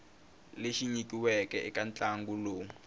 lexi nyikiweke eka ntlangu lowu